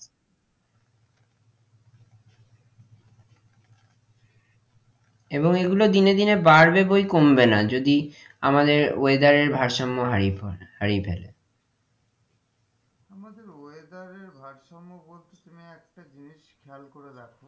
এবং এগুলো দিনে দিনে বাড়বে বৈ কমবে না যদি আমাদের weather এর ভারসাম্য হারিয়ে ফেলে আমাদের weather এর ভারসাম্য বলছে একটা জিনিস খেয়াল করে দেখো,